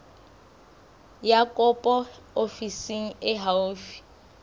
ya kopo ofising e haufi